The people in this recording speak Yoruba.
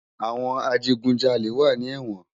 Awòn àjigúnjàlé wà ni èwòn